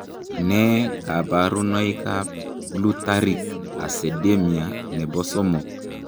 Nee kabarunoikab Glutaric acidemia nebo somok?